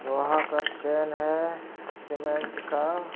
लोहा का चैन है सीमेंट का।